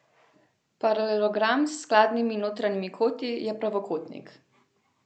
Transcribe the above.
Paralelogram s skladnimi notranjimi koti je pravokotnik.